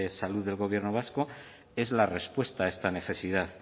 salud del gobierno vasco es la respuesta a esta necesidad